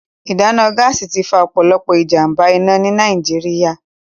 Ìdáná Gáàsì ti fa ọ̀pọ̀lọpọ̀ ìjàm̀bá-iná ní Nàìjíríà